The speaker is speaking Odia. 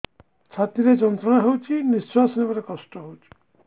ଛାତି ରେ ଯନ୍ତ୍ରଣା ହଉଛି ନିଶ୍ୱାସ ନେବାରେ କଷ୍ଟ ହଉଛି